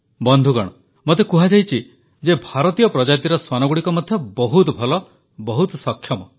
ବନ୍ଧୁଗଣ ମୋତେ କୁହାଯାଇଛି ଯେ ଭାରତୀୟ ପ୍ରଜାତିର ଶ୍ୱାନଗୁଡ଼ିକ ମଧ୍ୟ ବହୁତ ଭଲ ବହୁତ ସକ୍ଷମ